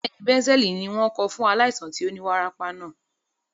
Bẹ́ẹ̀ni, bẹ̀ǹsẹ́ẹ̀lì ni wọ́n kọ fún aláìsàn tí ó ní wárápá náà.